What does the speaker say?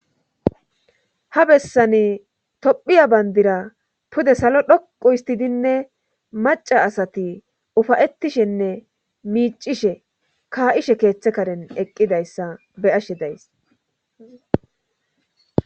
Ha bessani tophiya bandira pude salo dhoqu histidinne maca asati ufayetishenne miicishe kaa7ishe keeththe karen eqqidayssa be ashe days